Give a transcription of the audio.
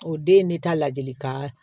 O den ye ne ta ladilikan